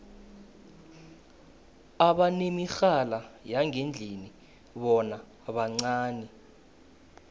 abanemirhala yangendlini bona bancani